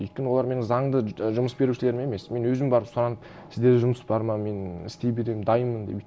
өйткені олар менің заңды жұмыс берушілерім емес мен өзім барып сұранып сіздерде жұмыс бар ма мен істей беремін дайыннмын деп